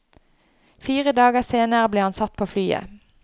Fire dager senere ble han satt på flyet.